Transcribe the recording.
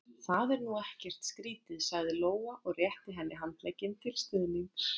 Það er nú ekkert skrítið, sagði Lóa og rétti henni handlegginn til stuðnings.